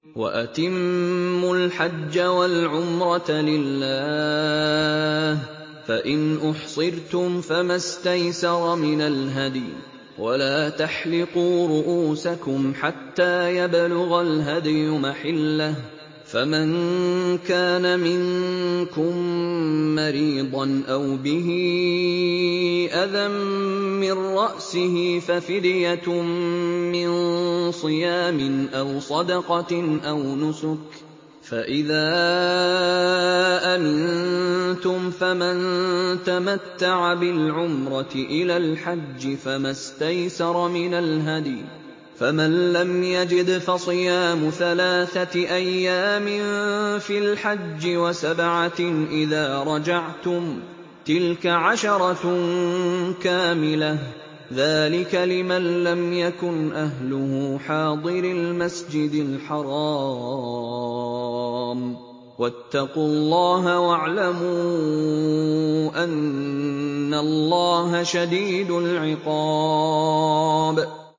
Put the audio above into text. وَأَتِمُّوا الْحَجَّ وَالْعُمْرَةَ لِلَّهِ ۚ فَإِنْ أُحْصِرْتُمْ فَمَا اسْتَيْسَرَ مِنَ الْهَدْيِ ۖ وَلَا تَحْلِقُوا رُءُوسَكُمْ حَتَّىٰ يَبْلُغَ الْهَدْيُ مَحِلَّهُ ۚ فَمَن كَانَ مِنكُم مَّرِيضًا أَوْ بِهِ أَذًى مِّن رَّأْسِهِ فَفِدْيَةٌ مِّن صِيَامٍ أَوْ صَدَقَةٍ أَوْ نُسُكٍ ۚ فَإِذَا أَمِنتُمْ فَمَن تَمَتَّعَ بِالْعُمْرَةِ إِلَى الْحَجِّ فَمَا اسْتَيْسَرَ مِنَ الْهَدْيِ ۚ فَمَن لَّمْ يَجِدْ فَصِيَامُ ثَلَاثَةِ أَيَّامٍ فِي الْحَجِّ وَسَبْعَةٍ إِذَا رَجَعْتُمْ ۗ تِلْكَ عَشَرَةٌ كَامِلَةٌ ۗ ذَٰلِكَ لِمَن لَّمْ يَكُنْ أَهْلُهُ حَاضِرِي الْمَسْجِدِ الْحَرَامِ ۚ وَاتَّقُوا اللَّهَ وَاعْلَمُوا أَنَّ اللَّهَ شَدِيدُ الْعِقَابِ